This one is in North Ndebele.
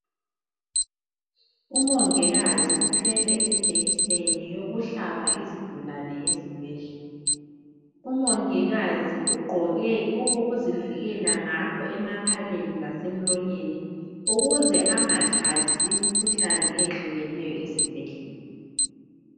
Umongikazi uthwele ijekiseni yokuhlaba izigulane esibhedlela , umongikazi ugqoke okokuzivikela ngakho emakhaleni lase mlonyeni ukuze angathathi imikhuhlane eyehlukeneyo esibhedlela.